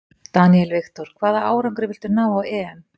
Daniel Victor: Hvaða árangri viltu ná á EM?